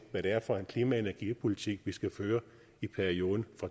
er for en klima og energipolitik vi skal føre i perioden